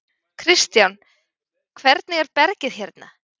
Kristján: Hvernig er bergið hérna?